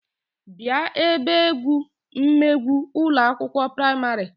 Bia ebe egwu megwu Ụlọ akwụkwọ praịmarị